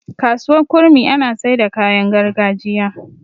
kasuwar kurmi ana Saida kayan gargajiya